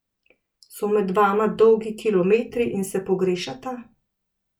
So med vama dolgi kilometri in se pogrešata?